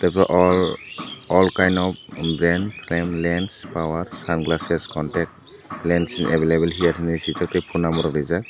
all all kind of bank lance power sunglasses contact lance available level hear henui swijak tai phone number bo reejak.